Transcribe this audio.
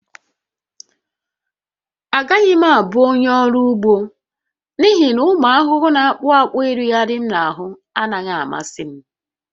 Agaghị m abụ onye ọrụ ugbo n'ihi na ụmụ ahụhụ na-akpụ akpụ ịrịgharị m n'ahụ anaghị amasị m